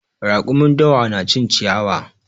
Raƙumin dawa na cin ciyawa.